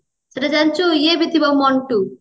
ସେଟା ଜାଣିଛୁ ଇଏ ବି ଥିବ ମଣ୍ଟୁ